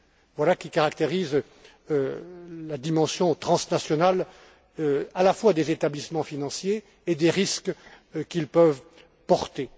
Voilà qui caractérise la dimension transnationale, à la fois des établissements financiers et des risques qu'ils peuvent porter.